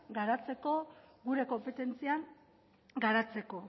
garatzeko gure konpetentzian garatzeko